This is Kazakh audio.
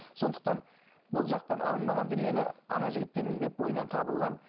сондықтан бұл жақтан алынбаған дүниені жігіттен іздеп бойынан табылған